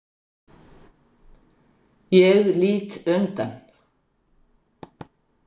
Ég lít undan.